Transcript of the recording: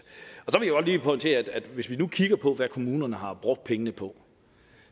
er pointere at hvis vi nu kigger på hvad kommunerne har brugt pengene på